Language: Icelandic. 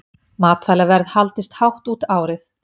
Matvælaverð haldist hátt út árið